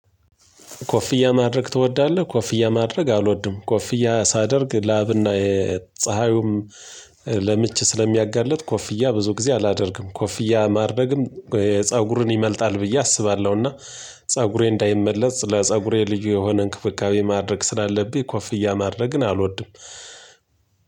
ኮፍያ ማድረግ ትወዳለህ? ኮፍያ ማድረግ አልወድም ኮፍያ ሳደርግ ላብና የፀሀዩም ለምች ስለሚያጋልጥ ኮፍያ ብዙ ጊዜ አላደርግም ኮፍያ ማድረግም ፀጉርን ይመልጣል ብዬ አስባለሁና ፀጉሬ እንዳይመለጥ ለፀጉሬ ልዩ የሆነ እንክብካቤ ማድረግ ስላለብኝ ኮፍያ ማድረግን አልወድም